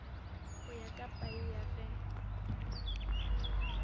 go ya ka paia ge